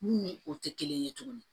Mun ni o tɛ kelen ye tuguni